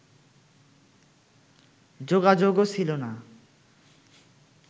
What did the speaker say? যোগাযোগও ছিল না